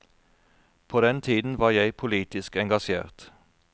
På den tiden var jeg politisk engasjert.